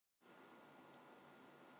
Skerðu kartöflurnar í báta með hýðinu á.